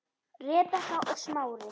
Rebekka og Smári.